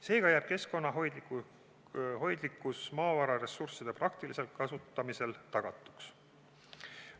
Seega jääb keskkonnahoidlikkus maavararessursside praktilisel kasutamisel tagatuks.